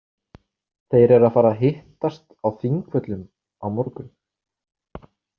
Þeir eru að fara að hittast á Þingvöllum á morgun.